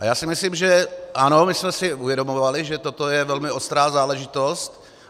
A já si myslím, že ano, my jsme si uvědomovali, že toto je velmi ostrá záležitost.